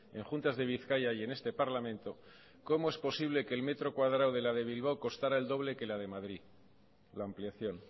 en juntas de bizkaia y en este parlamento cómo es posible el metro cuadrado de la de bilbao costara el doble que la de madrid la ampliación